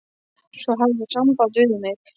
Svo hafðir þú samband við mig.